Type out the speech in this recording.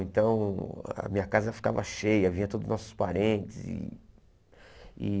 Então a minha casa ficava cheia, vinha todos os nossos parentes. E